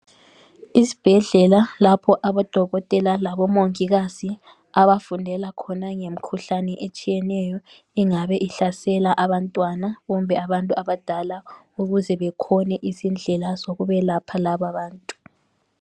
Isbhedlela lapho abodokotela labomongikazi abafundela khona ngemkhuhlane etshiyeneyo engabe ihlasela abantwana kumbe abantu abadala ukuze bekhone izindlela zokubelapha lababantu .